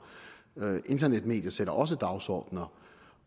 internetmedier sætter også dagsordener